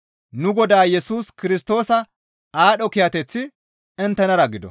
Nu Godaa Yesus Kirstoosa aadho kiyateththi inttenara gido.